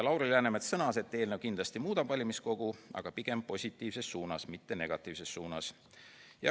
Lauri Läänemets sõnas, et eelnõu kindlasti muudab valimiskogu, aga pigem positiivses suunas, mitte negatiivses suunas.